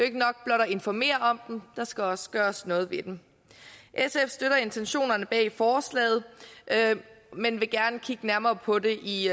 ikke nok blot at informere om dem der skal også gøres noget ved dem sf støtter intentionerne bag forslaget men vil gerne kigge nærmere på det i